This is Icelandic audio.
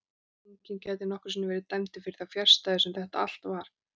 Enginn gæti nokkru sinni verið dæmdur fyrir þá fjarstæðu sem þetta allt var frá upphafi.